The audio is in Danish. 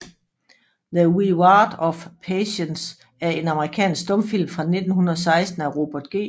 The Reward of Patience er en amerikansk stumfilm fra 1916 af Robert G